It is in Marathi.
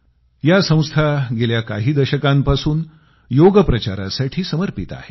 या संस्था गेल्या काही दशकांपासून योगप्रचारासाठी समर्पित आहेत